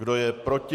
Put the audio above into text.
Kdo je proti?